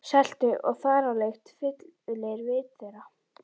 Seltu- og þaralykt fyllir vit þeirra.